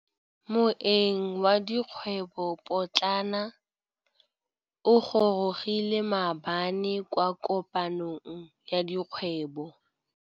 Moêng wa dikgwêbô pôtlana o gorogile maabane kwa kopanong ya dikgwêbô.